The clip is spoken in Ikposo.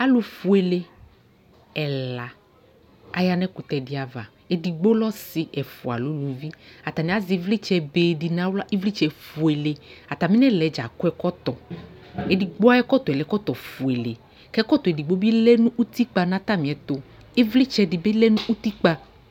Alʋfuele ɛla aya nʋ ɛkʋtɛ dɩ ava Edigbo lɛ ɔsɩ ɛfʋa lɛ uluvi Atanɩ azɛ ɩvlɩtsɛbe dɩ nʋ aɣla, ɩvlɩtsɛfuele Atamɩ nʋ ɛla yɛ dza akɔ ɛkɔtɔ Edigbo ayʋ ɛkɔtɔ yɛ lɛ ɛkɔtɔfuele kʋ ɛkɔtɔ edigbo bɩ lɛ nʋ utikpa nʋ atamɩɛtʋ Ɩvlɩtsɛ dɩ bɩ lɛ nʋ utikpa